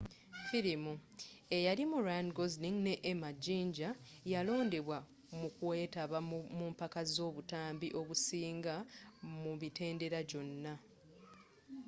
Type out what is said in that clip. filimu eyalimu ryan gosling ne emma jinja yalondebwa mukweetaba mumpaka z'obutambi obusiinze mu mitendera gyonna